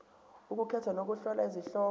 ukukhetha nokuhlola izihloko